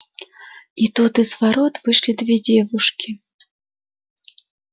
и тут из ворот вышли две девушки